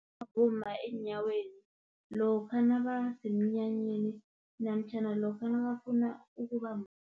Abomma eenyaweni, lokha nabasemnyanyeni, namtjhana lokha nakafuna ukuba